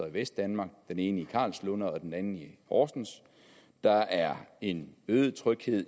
i vestdanmark den ene i karlslunde og den anden i horsens der er en øget tryghed